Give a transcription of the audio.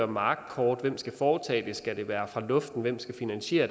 markkort hvem skal foretage det skal det være fra luften hvem skal finansiere